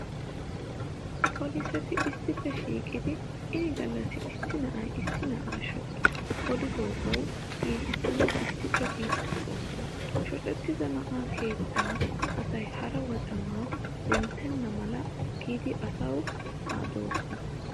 Poliseti issippe shiiqidi ini gallassi issi na'ay issi na'a shoci olidoogawu giigissanawu issippe biiddi de'oosona. Shocettida na'aa keettaa asay hara wocamaa denttenna mala giidi asawu adoosona.